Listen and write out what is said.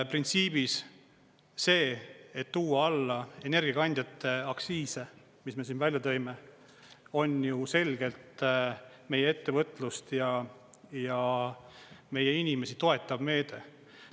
Printsiibis see, et tuua alla energiakandjate aktsiise, mis me välja tõime, on ju selgelt meie ettevõtlust ja meie inimesi toetav meede.